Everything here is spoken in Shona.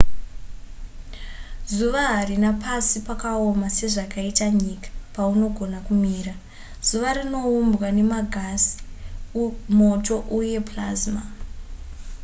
zuva harina pasi pakaoma sezvakaita nyika paunogona kumira zuva rinoumbwa nemagasi moto uye plasma